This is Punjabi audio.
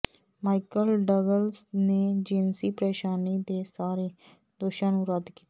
ਮਾਈਕਲ ਡਗਲਸ ਨੇ ਜਿਨਸੀ ਪਰੇਸ਼ਾਨੀ ਦੇ ਸਾਰੇ ਦੋਸ਼ਾਂ ਨੂੰ ਰੱਦ ਕੀਤਾ